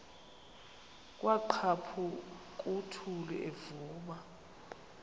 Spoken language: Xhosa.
kwaqhaphuk uthuli evuma